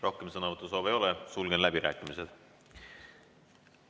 Rohkem sõnavõtusoove ei ole, sulgen läbirääkimised.